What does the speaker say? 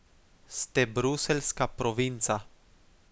Ste bruseljska provinca.